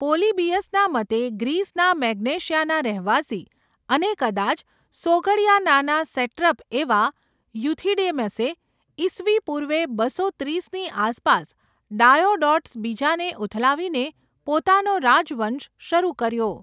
પોલીબીયસના મતે ગ્રીસના મેગ્નેશિયાના રહેવાસી અને કદાચ સોગડિયાનાના સેટ્રપ એવા યુથિડેમસે, ઇસવી પૂર્વે બસો ત્રીસની આસપાસ ડાયોડોટસ બીજાને ઉથલાવીને પોતાનો રાજવંશ શરૂ કર્યો.